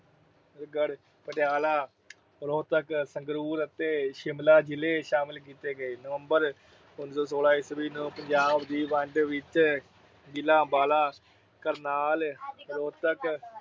ਪਟਿਆਲਾ, ਰੋਹਤਕ, ਸੰਗਰੂਰ ਅਤੇ ਸ਼ਿਮਲਾ ਜ਼ਿਲ੍ਹੇ ਸ਼ਾਮਲ ਕੀਤੇ ਗਏ। ਨਵੰਬਰ ਉਨੀ ਸੌ ਸੌਲਾ ਨੂੰ ਪੰਜਾਬ ਦੀ ਵੰਡ ਵਿੱਚ ਜ਼ਿਲ੍ਹਾ ਅੰਬਾਲਾ, ਕਰਨਾਲ ਰੋਹਤਕ